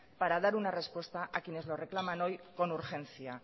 para dar una respuesta a quienes nos reclaman hoy con urgencia